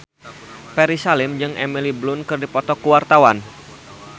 Ferry Salim jeung Emily Blunt keur dipoto ku wartawan